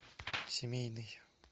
семейный